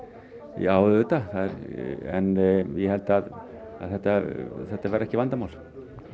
já auðvitað en ég held að þetta þetta verði ekki vandamál